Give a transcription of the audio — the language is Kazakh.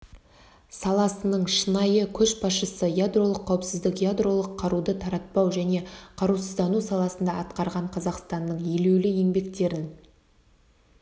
саласының шынайы көшбасшысы ядролық қауіпсіздік ядролық қаруды таратпау және қарусыздану саласында атқарған қазақстанның елеулі еңбектерін